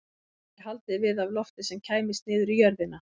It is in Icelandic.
Honum væri haldið við af lofti sem kæmist niður í jörðina.